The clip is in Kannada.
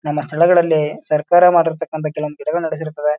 ನಮ್ಮ ಸ್ಥಳಗಳಲ್ಲಿ ಸರಕಾರ ಮಾಡಿರ್ತಕ್ಕಾನಂಥ ಕೆಲವೊಂದ್ ಗಿಡಗಳನ್ನು ನೆಡಿಸಿರ್ತದ --